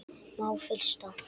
Má frysta.